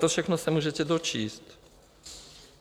To všechno se můžete dočíst.